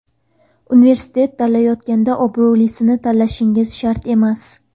Universitet tanlayotganda obro‘lisini tanlashingiz shart emas.